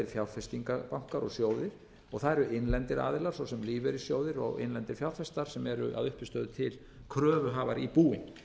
fjárfestingarbankar og sjóðir það eru innlendir aðilar svo sem lífeyrissjóðir og innlendir fjárfestar sem eru að uppistöðu til kröfuhafar í búin